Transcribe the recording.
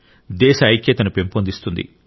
దేశ ఐక్యతను పెంపొందిస్తుంది